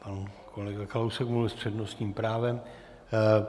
Pan kolega Kalousek mluvil s přednostním právem.